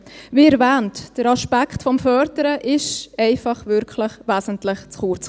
Wie erwähnt: Der Aspekt des Förderns kam hier einfach wirklich wesentlich zu kurz.